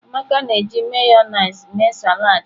Amaka na-eji Mayonezi mee salad ya.